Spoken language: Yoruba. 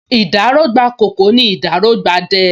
Ìdáró gbà ’kòkò, nì ’dáró gba ’dẹ